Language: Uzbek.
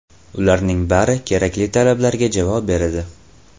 Ularning bari kerakli talablarga javob beradi.